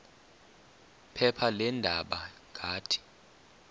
phepha leendaba ngathi